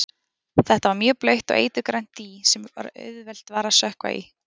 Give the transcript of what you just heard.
Þetta var mjög blautt og eiturgrænt dý sem auðvelt var að sökkva í.